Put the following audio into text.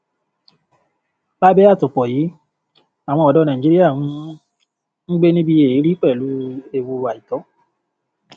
lábẹ àtòpọ yìí àwọn ọdọ nàìjíríà ń ń gbé níbi èérí pẹlú ewu àìtọ